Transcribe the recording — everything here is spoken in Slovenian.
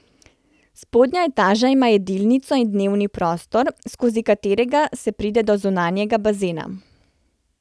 Spodnja etaža ima jedilnico in dnevni prostor, skozi katerega se pride do zunanjega bazena.